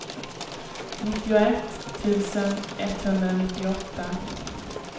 nittioett tusen etthundranittioåtta